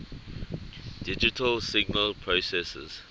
digital signal processors